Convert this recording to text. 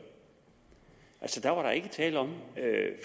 altså der var der ikke tale om